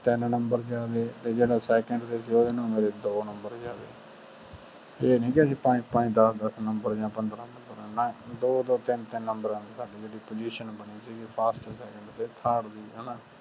ਤੀਨ ਨੰਬਰ ਚ ਤੇ ਜਿਹੜਾ second ਸੀ ਓਦੇ ਨਾਲ ਮੇਰੇ ਦੋ ਨੰਬਰ ਜਾਂਦਾ ਸੀ ਇਹ ਨੀ ਕੇ ਅਸੀਂ ਪੰਜ ਪੰਜ ਦਸ ਦਸ ਆ ਪੰਦਰਾਂ ਨੰਬਰ ਨਾਲ ਸਾਡੀ position ਬਣੀ ਸੀ first second ਜਾ third ਦੀ